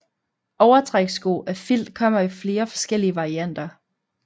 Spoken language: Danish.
Overtrækssko af filt kommer i flere forskellige varianter